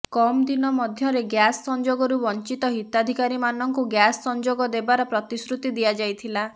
କମ୍ ଦିନ ମଧ୍ୟରେ ଗ୍ୟାସ ସଂଯୋଗରୁ ବଞ୍ଚିତ ହିତାଧିକାରୀମାନଙ୍କୁ ଗ୍ୟାସ ସଂଯୋଗ ଦେବାର ପ୍ରତିଶ୍ରୁତି ଦିଆଯାଇଥିଲା